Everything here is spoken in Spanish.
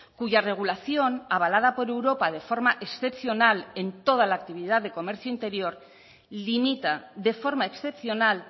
cuya regulación avalada por europa de forma excepcional en toda la actividad de comercio interior limita de forma excepcional